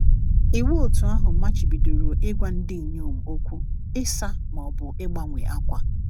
Iwu òtù ahụ machibidoro ịgwa ndị inyom okwu, ịsa, ma ọ bụ ịgbanwe ákwà.